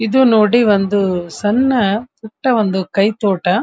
ಎದು ನೋಡಿ ಒಂದು ಸಣ್ಣ ಪುಟ್ಟ ಒಂದು ಕೈತೋಟ.